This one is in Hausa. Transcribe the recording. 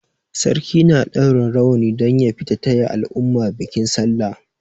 Sarki na ɗaura rawani don ya fita taya al'umma bikin sallah.